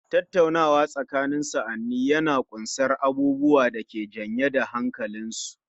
Tattaunawa tsakanin sa'anni yana ƙunsar abubuwa da ke janye da hankalinsu